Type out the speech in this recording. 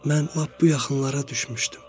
Mən lap bu yaxınlara düşmüşdüm.